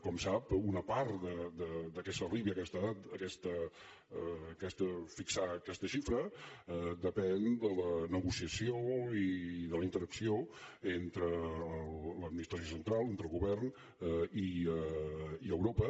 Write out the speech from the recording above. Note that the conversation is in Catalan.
com sap una part que s’arribi a fixar aquesta xifra depèn de la negociació i de la interacció entre l’administració central entre el govern i europa